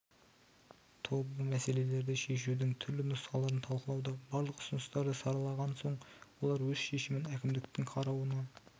тобы мәселелерді шешудің түрлі нұсқаларын талқылауда барлық ұсыныстарды саралаған соң олар өз шешімін әкімдіктің қарауына